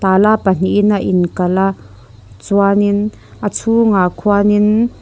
tala pahnihin a inkalh a chuanin a chhungah khuanin --